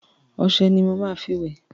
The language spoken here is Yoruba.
Ọṣẹ ni mo máa tí wẹ̀.